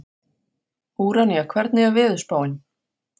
Úranía, hvernig er veðurspáin?